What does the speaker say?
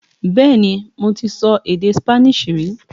Bẹ́ẹ̀ni mo ti so èdè Spanish rí